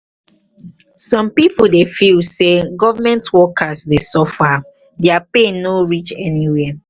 some pipo feel sey government government workers dey suffer their pay no reach anywhere